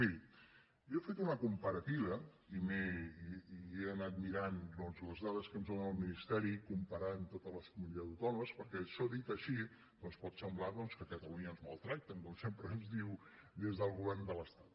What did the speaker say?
miri jo he fet una comparativa i he anat mirant doncs les dades que ens dóna el ministeri comparant totes les comunitats autònomes perquè això dit així doncs pot semblar que a catalunya ens maltracten com sempre ens diu des del govern de l’estat